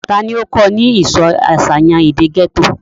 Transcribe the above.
ta ni ó kọ́ ọ ní ìsọ àṣàyàn èdè gẹ́tò?